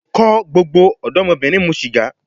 Ko gbogbo odomobirin mu siga